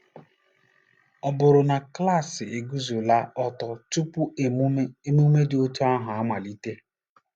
Ọ bụrụ na klaasị eguzola ọtọ tupu emume emume dị otú ahụ na-amalite?